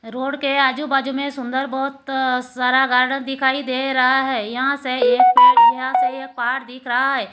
Road के आजू बाजू में सुंदर बहोत सारा गार्डन दिखाई दे रहा है यहां से ये यहां से ये पार दिख रहा है।